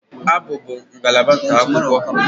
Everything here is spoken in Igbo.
Abụ bụ ngalaba nke akwụkwọ